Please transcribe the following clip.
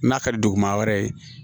N'a ka di duguma wɛrɛ ye